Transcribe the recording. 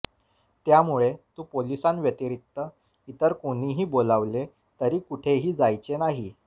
त्यामुळे तू पोलिसांव्यतिरिक्त इतर कोणीही बोलावले तरी कुठेही जायचे नाही